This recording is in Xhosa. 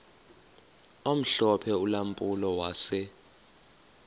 omhlophe ulampulo wase